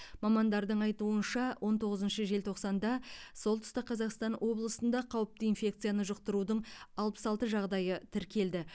мамандардың айтуынша он тоғызыншы желтоқсанда солтүстік қазақстан облысында қауіпті инфекцияны жұқтырудың алпыс алты жағдайы тіркелді